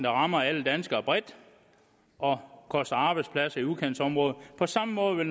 rammer alle danskere bredt og koster arbejdspladser i udkantsområderne på samme måde